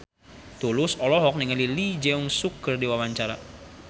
Tulus olohok ningali Lee Jeong Suk keur diwawancara